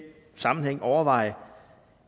sammenhæng skal overveje